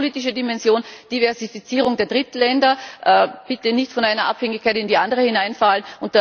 Und die außenpolitische Dimension, Diversifizierung der Drittländer bitte nicht von einer Abhängigkeit in die andere hineinfallen.